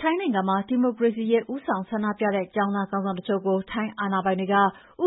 ထိုင်းနိုင်ငံမှာ ဒီမိုကရေစီရေး ဦးဆောင်ဆန္ဒပြတဲ့ ကျောင်းသားခေါင်းဆောင်တချို့ကို ထိုင်းအာဏာပိုင်တွေက ဥ